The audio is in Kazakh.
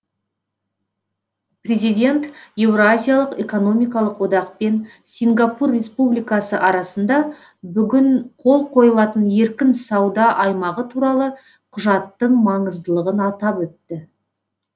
президент еуразиялық экономикалық одақпен сингапур республикасы арасында бүгін қол қойылатын еркін сауда аймағы туралы құжаттың маңыздылығын атап өтті